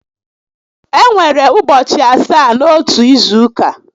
E nwere ụbọchị asaá n'otu izu ụka